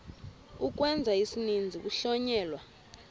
ukwenza isininzi kuhlonyelwa